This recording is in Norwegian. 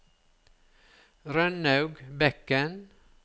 Rønnaug Bekken